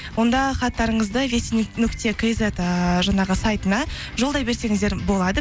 онда хаттарыңызды нүкте кизет ыыы жаңағы сайтына жолдай берсеңіздер болады